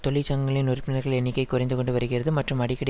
தொழிற்சங்கங்களின் உறுப்பினர்கள் எண்ணிக்கை குறைந்து கொண்டு வருகிறது மற்றும் அடிக்கடி